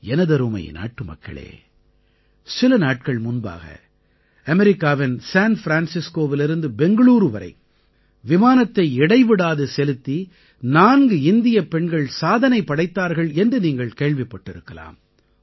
எனதருமை நாட்டுமக்களே சில நாட்கள் முன்பாக அமெரிக்காவின் சேன் ஃப்ரான்ஸிஸ்கோவிலிருந்து பெங்களூரூ வரை விமானத்தை இடைவிடாது செலுத்தி நான்கு இந்தியப் பெண்கள் சாதனை படைத்தார்கள் என்று நீங்கள் கேள்விப்பட்டிருக்கலாம்